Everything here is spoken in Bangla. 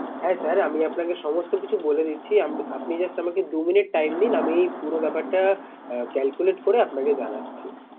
হ্যাঁ sir আমি আপনাকে সমস্ত কিছু বলে দিচ্ছি। আপনি just আমাকে দু minutes time দিন। আমি এই পুরো ব্যাপারটা calculate করে আপনাকে জানাচ্ছি।